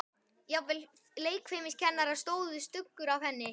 Jafnvel leikfimikennaranum stóð stuggur af henni.